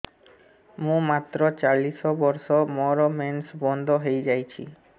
ମୁଁ ମାତ୍ର ଚାଳିଶ ବର୍ଷ ମୋର ମେନ୍ସ ବନ୍ଦ ହେଇଯାଇଛି